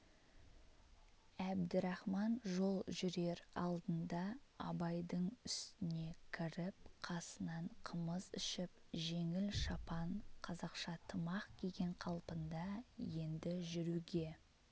әбдірахман жол жүрер алдында абайдың үстіне кіріп қасынан қымыз ішіп жеңіл шапан қазақша тымақ киген қалпында енді жүруге